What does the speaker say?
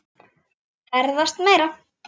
Ferðast meira.